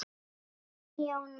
Þinn Jón Már.